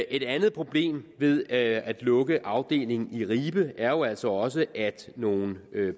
et andet problem ved at at lukke afdelingen i ribe er jo altså også at nogle